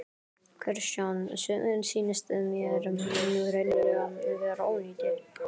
Kristján: Sumir sýnist mér nú hreinlega vera ónýtir?